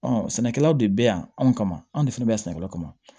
sɛnɛkɛlaw de bɛ yan anw kama anw de fana bɛ yan sɛnɛkɛlaw kama